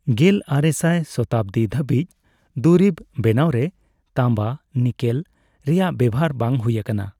ᱜᱮᱞ ᱟᱨᱮ ᱥᱟᱭ ᱥᱚᱛᱟᱵᱫᱤ ᱫᱷᱹᱟᱵᱤᱡ ᱫᱩᱨᱤᱵ ᱵᱮᱱᱟᱣᱨᱮ ᱛᱟᱢᱵᱟᱼᱱᱤᱠᱮᱞ ᱨᱮᱭᱟᱜ ᱵᱮᱣᱦᱟᱨ ᱵᱟᱝ ᱦᱩᱭ ᱟᱠᱟᱱᱟ ᱾